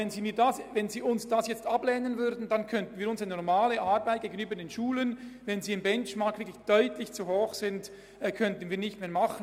Wenn Sie diese jetzt ablehnen, können wir unsere normale Aufgabe gegenüber Schulen, die gemessen am Benchmark deutlich zu hohe Ausgaben haben, nicht mehr wahrnehmen.